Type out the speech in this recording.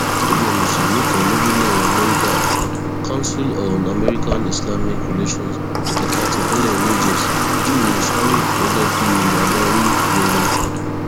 ẹgbẹ mùsùlùmí kan lórílẹ amẹríkà council on americanislamic relations ẹka tipinlẹ new jersey júwe sharif gẹgẹ bíi adarí rere